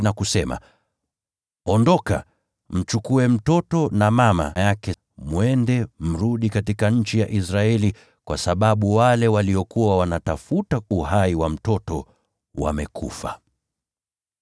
na kusema, “Ondoka, mchukue mtoto na mama yake mwende, mrudi katika nchi ya Israeli kwa sababu wale waliokuwa wanatafuta uhai wa mtoto wamekufa.”